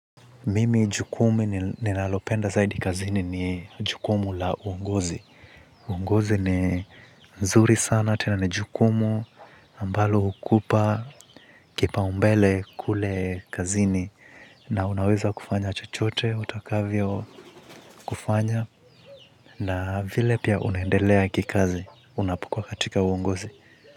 Mimi jukumu ninalopenda zaidi kazini ni jukumu la uongozi. Uongozi ni nzuri sana, tena ni jukumu ambalo hukupa, kipaumbele kule kazini. Na unaweza kufanya chochote, utakavyo kufanya. Na vile pia unaendelea kikazi, unapokua katika uongozi.